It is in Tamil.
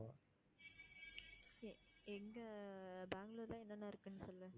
எங்க பெங்களூர்ல என்னென்ன இருக்குன்னு சொல்லு.